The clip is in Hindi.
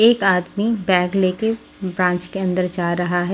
एक आदमी बैग लेके ब्रांच के अंदर जा रहा है।